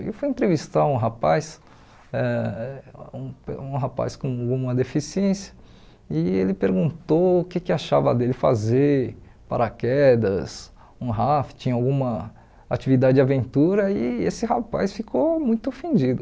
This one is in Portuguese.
Ele foi entrevistar um rapaz, ãh um um rapaz com uma deficiência, e ele perguntou o que que achava dele fazer paraquedas, um rafting, alguma atividade de aventura, e esse rapaz ficou muito ofendido.